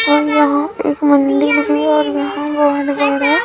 और यहाँ एक मंदिर भी है और यहाँ बहुत बड़ा --